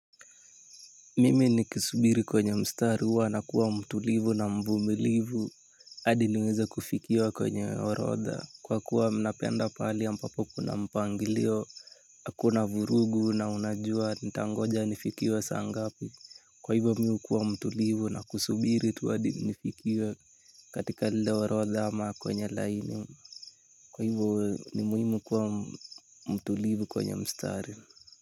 Mimi nikisubiri kwenye mstari huwa nakuwa mtulivu na mvumilivu. Hadi niweza kufikiwa kwenye orodha. Kwakuwa mi napenda pahali ambapo kuna mpangilio hakuna vurugu na unajua nitangoja nifikiwe saa ngapi. Kwa hivo mi hukuwa mtulivu na kusubiri tu hadi nifikiwe katika lile orotha ama kwenye laini. Kwa hivo ni muhimu kuwa mtulivu kwenye mstari.